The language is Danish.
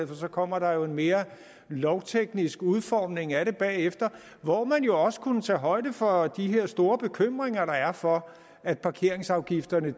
for så kommer der jo en mere lovteknisk udformning af det bagefter hvor man jo også kunne tage højde for de her store bekymringer der er for at parkeringsafgifterne